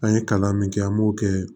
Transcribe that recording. An ye kalan min kɛ an b'o kɛ